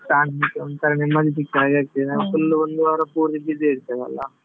ಶಾಂತಿ ಒಂತರ ನೆಮ್ಮದಿ ಸಿಕ್ಕಾಗೆ ಆಗ್ತದೆ full ಉ ಒಂದು ವಾರ ಪೂರ್ತಿ busy ಇರ್ತೇವಲ್ಲ.